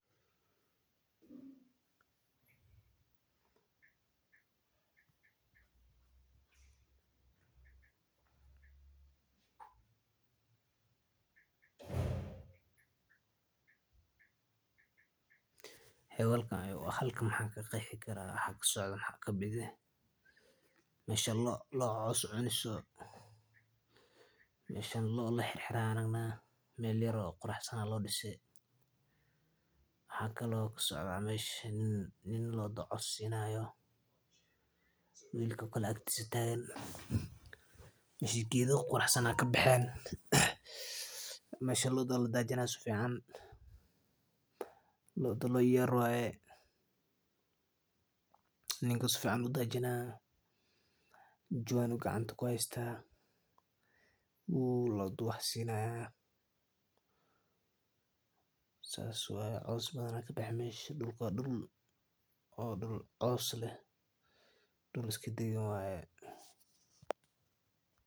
Halkan qaxan ka qexi kalraa lo cos cuni hayso meshan maxan arki hayna lo la xir xire meel qurax san waxaa kalo kusocda mesha nin lodha cos sinayo wil agtisa tagan mesha geeda quraxsan aya kabaxen sas waye cos aya kabaxe waa dul cos leh dul iska dagan waye.